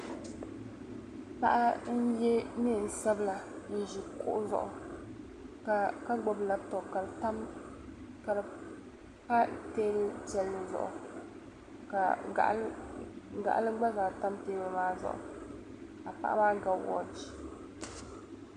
paɣa n-ye neen' sabila n-ʒi kuɣu zuɣu ka gbubi lapitɔpu ka di pa teebuli piɛlli zuɣu ka gaɣili gba zaa tam teebuli maa zuɣu ka paɣa maa ga wɔchi